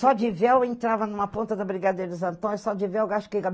Só de véu entrava em uma ponta da Brigadeiro Santos, só de véu acho que